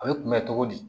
A bɛ kunbɛn cogo di